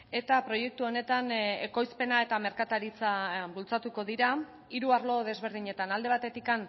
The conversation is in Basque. eta proiektu honetan ekoizpena eta merkataritza bultzatuko dira hiru arlo desberdinetan alde batetik